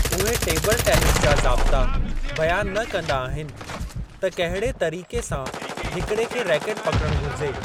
उहे table tennis जा ज़ाब्ता बयानु न कंदा आहिनि त कहिड़े तरीक़े सां हिकिड़े खे रैकट पकिड़ण घुरिजे।